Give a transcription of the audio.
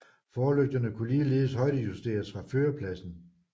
Forlygterne kunne ligeledes højdejusteres fra førerpladsen